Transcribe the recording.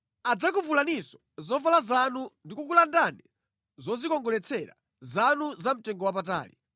Adzakuvulaninso zovala zanu ndikukulandani zodzikongoletsera zanu zamtengowapatali.